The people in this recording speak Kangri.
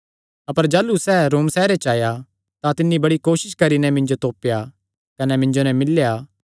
अपर जाह़लू सैह़ रोम सैहरे च आया तां तिन्नी बड़ी कोसस करी नैं मिन्जो तोपेया कने मिन्जो नैं मिल्लेया